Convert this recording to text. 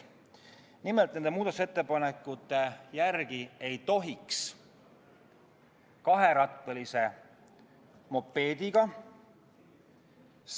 Nimelt, nende muudatusettepanekute järgi ei tohiks jalgrattateel sõita ka kaherattalise mopeediga.